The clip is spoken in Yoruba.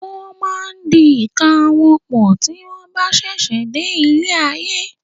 Won máa ń di ìka wọn pọ̀ tí wọn bá sẹsẹ dé ilé ayé.